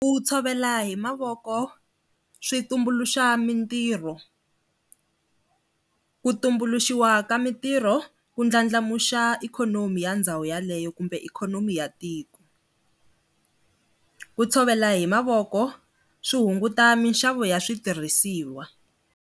Ku tshovela hi mavoko swi tumbuluxa mintirho, ku tumbuluxiwa ka mintirho ku ndlandlamuxa ikhonomi ya ndhawu yaleyo kumbe ikhonomi ya tiku, ku tshovela hi mavoko swi hunguta mixavo ya switirhisiwa.